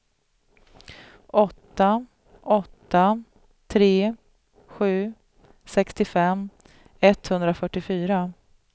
åtta åtta tre sju sextiofem etthundrafyrtiofyra